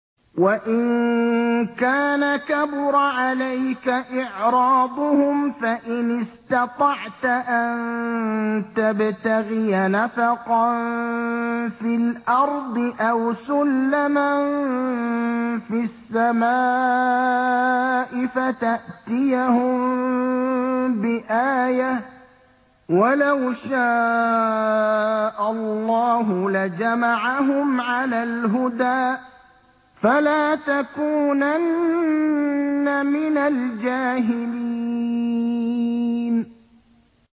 وَإِن كَانَ كَبُرَ عَلَيْكَ إِعْرَاضُهُمْ فَإِنِ اسْتَطَعْتَ أَن تَبْتَغِيَ نَفَقًا فِي الْأَرْضِ أَوْ سُلَّمًا فِي السَّمَاءِ فَتَأْتِيَهُم بِآيَةٍ ۚ وَلَوْ شَاءَ اللَّهُ لَجَمَعَهُمْ عَلَى الْهُدَىٰ ۚ فَلَا تَكُونَنَّ مِنَ الْجَاهِلِينَ